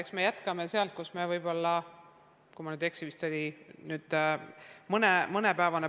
Eks me jätkame sealt, kus me selle õppeaasta kokku võtsime.